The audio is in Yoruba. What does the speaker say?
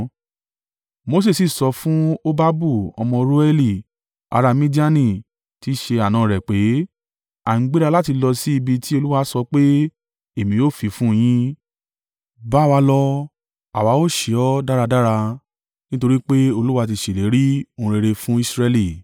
Mose sì sọ fún Hobabu ọmọ Reueli ará Midiani tí í ṣe àna rẹ̀ pé, “A ń gbéra láti lọ sí ibi tí Olúwa sọ pé, ‘Èmi ó fi fún un yín.’ Bá wa lọ, àwa ó ṣe ọ́ dáradára nítorí pé Olúwa ti ṣèlérí ohun rere fún Israẹli.”